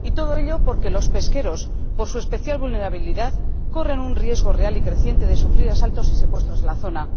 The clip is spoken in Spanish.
Y todo ello porque los pesqueros, por su especial vulnerabilidad, corren un riesgo real y creciente de sufrir asaltos y secuestros en la zona.